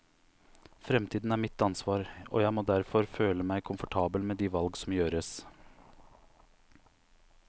Fremtiden er mitt ansvar, og jeg må derfor føle meg komfortabel med de valg som gjøres.